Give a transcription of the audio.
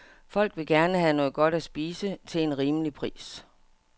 Folk vil gerne have noget godt at spise til en rimelig pris.